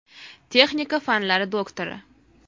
Texnika fanlari doktori.